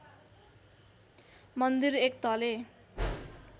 मन्दिर एक तले